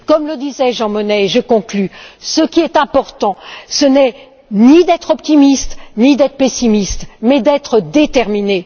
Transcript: Comme le disait Jean Monnet et je conclus ce qui est important, ce n'est ni d'être optimiste ni d'être pessimiste, mais d'être déterminé.